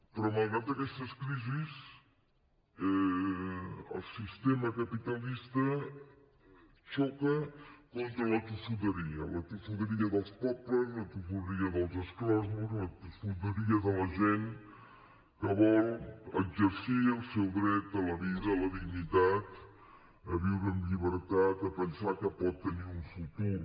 però malgrat aquestes crisis el sistema capitalista xoca contra la tossuderia la tossuderia dels pobles la tossuderia dels exclosos la tossuderia de la gent que vol exercir el seu dret a la vida a la dignitat a viure amb llibertat a pensar que pot tenir un futur